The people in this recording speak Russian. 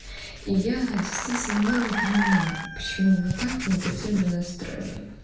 я действительно ну не понимаю почему вы так негативно настроены